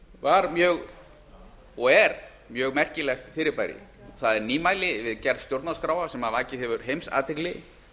var mjög og er mjög merkilegt fyrirbæri það er nýmæli við gerð stjórnarskráa sem vakið hefur heimsathygli